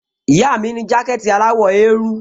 Ìyá mi ní jákẹ̀tì aláwọ̀ eérú